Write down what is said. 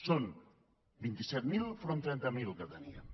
són vint set mil enfront de trenta miler que teníem